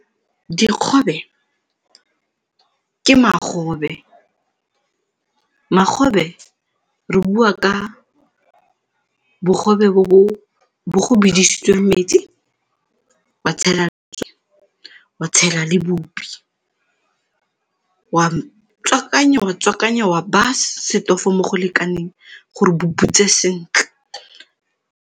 Dikgobe ke magobe, magobe re bua ka bogobe bo bo bidisitsweng metsi wa tshela wa tshela le bupi, wa tswakanya, wa tswakanya, wa beya setofo mo go lekaneng gore bo butswe sentle.